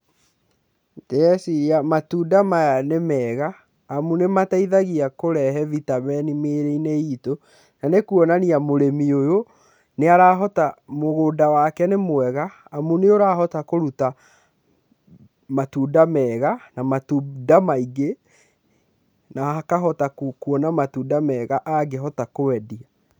Ndĩreciria matunda maya nĩ mega, amu nĩ mateithagia kũrehe vitamin mĩĩrĩ-inĩ itũ, na nĩ kuonania mũrĩmi ũyũ nĩ arahota, mũgũnda wake nĩ mwega, amu nĩ ũrahota kũruta matunda mega, na matunda maingĩ na akahota kuona matunda mega angĩhota kwendia.